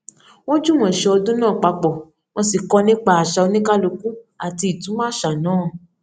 wọ́n jùmọ̀ ṣe ọdún náà papọ̀ wọ́n sì kọ́ nípa àṣà oníkálúkù àti ìtumọ̀ àṣà náà